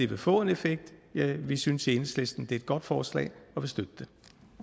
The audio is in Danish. vil få en effekt vi synes i enhedslisten det et godt forslag